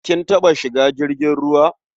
Kin taɓa shiga jirgin ruwa?